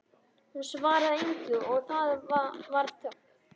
Hún svaraði engu og það varð þögn.